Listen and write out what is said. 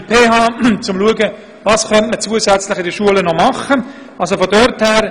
Es geht darum, zu schauen, was man an den Schulen noch machen könnte.